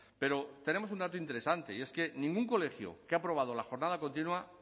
pero tenemos un dato interesante y es que ningún colegio que ha aprobado la jornada continua